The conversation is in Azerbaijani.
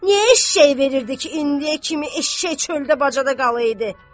Niyə eşşək verirdilər ki, indiyə kimi eşşək çöldə bacada qala idi.